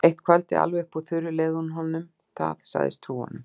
Eitt kvöldið, alveg upp úr þurru, leyfði hún honum það, sagðist trúa honum.